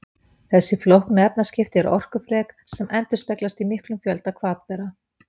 þessi flóknu efnaskipti eru orkufrek sem endurspeglast í miklum fjölda hvatbera